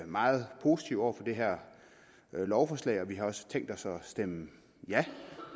meget positive over for det her lovforslag og vi har også tænkt os at stemme ja